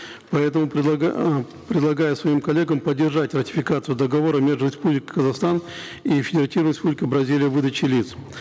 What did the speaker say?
поэтому а предлагаю своим коллегам поддержать ратификацию договора между республикой казахстан и федеративной республикой бразилия в выдаче лиц